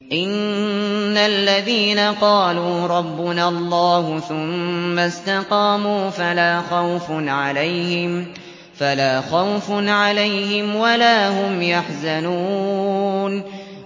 إِنَّ الَّذِينَ قَالُوا رَبُّنَا اللَّهُ ثُمَّ اسْتَقَامُوا فَلَا خَوْفٌ عَلَيْهِمْ وَلَا هُمْ يَحْزَنُونَ